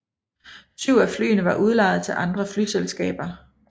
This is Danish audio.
Syv af flyene var udlejet til andre flyselskaber